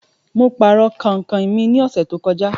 Mo pàrọ̀ kàinkàin mi ní ọ̀sẹ̀ to kọjá